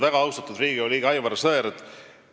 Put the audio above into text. Väga austatud Riigikogu liige Aivar Sõerd!